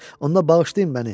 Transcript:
Onda bağışlayın məni.